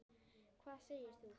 Hvað segir þú?